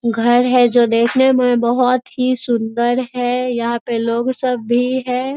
घर है जो देखने में बहोत ही सुंदर है यहां पर लोग सब भी है।